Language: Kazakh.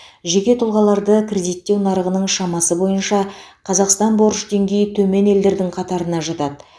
жеке тұлғаларды кредиттеу нарығының шамасы бойынша қазақстан борыш деңгейі төмен елдердің қатарына жатады